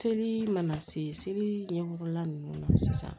Seli mana se seli ɲɛgɔla ninnu ma sisan